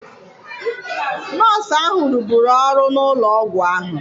Nọọsụ ahụ rụburu ọrụ n'ụlọ ọgwụ ahụ.